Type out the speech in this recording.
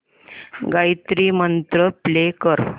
Gayatri mantra play कर